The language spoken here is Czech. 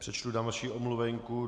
Přečtu další omluvenku.